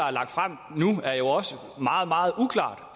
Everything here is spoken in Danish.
er lagt frem er jo også meget meget uklart